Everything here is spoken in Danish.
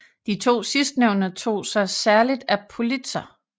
De to sidstnævnte tog sig særlig af Politzer